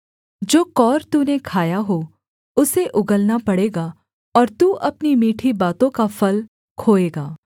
जो कौर तूने खाया हो उसे उगलना पड़ेगा और तू अपनी मीठी बातों का फल खोएगा